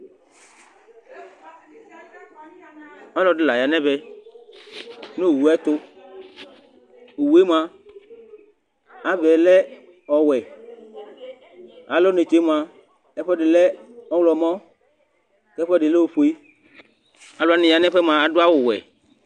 Ɔlɔɖi la ya ŋu ɛvɛ ŋu owue tu Owue mʋa ava yɛ la ɔwɛ Alɔ netse mʋa ɛfʋɛɖi lɛ ɔwlɔmɔ kʋ ɛfʋɛɖi lɛ ɔfʋe Alʋwani ya ŋu ɛfʋɛ mʋa aɖu awu wɛ